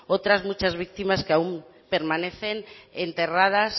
otras muchas víctimas que aún permanecen enterradas